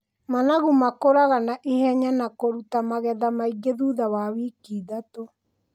Managu makũraga na ihenya na kũruta magetha maingĩ thutha wa wiki ithathatũ.